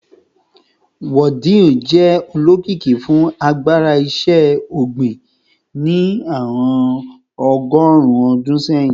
Wudil jẹ olokiki fun agbara iṣẹ-ogbin ni awọn ọgọrun ọdun sẹhin